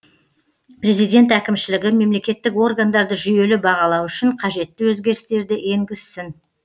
президент әкімшілігі мемлекеттік органдарды жүйелі бағалау үшін қажетті өзгерістерді енгізсін